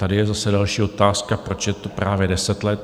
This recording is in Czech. Tady je zase další otázka: Proč je to právě deset let?